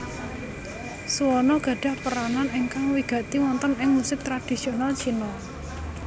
Suona gadhah peranan ingkang wigati wonten ing musik tradisional Cina